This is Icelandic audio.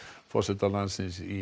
forsetans í